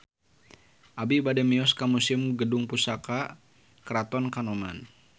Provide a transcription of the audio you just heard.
Abi bade mios ka Museum Gedung Pusaka Keraton Kanoman